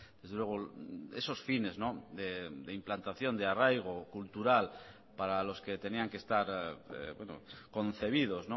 desde luego esos fines de implantación de arraigo cultural para los que tenían que estar concebidos